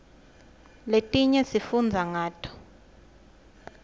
letinye sifundza ngato